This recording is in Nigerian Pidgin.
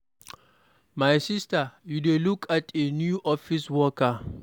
My sister you dey look at a new office worker.